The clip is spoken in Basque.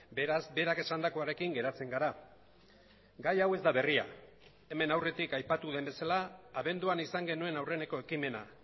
beraz berak esandakoarekin geratzen gara gai hau ez da berria hemen aurretik aipatu den bezala abenduan izan genuen aurreneko ekimena